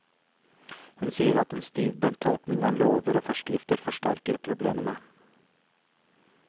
Hun sier at en stivbent tolkning av lover og forskrifter forsterker problemene.